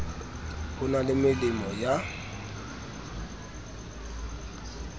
ho na le melemo ya